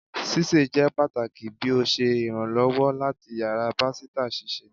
Sise jẹ pataki bi o ṣe iranlọwọ lati yara pasita sise